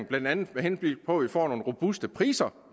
blandt andet med henblik på at vi får nogle robuste priser